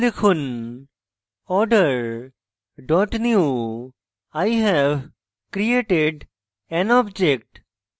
order dot newi have created an object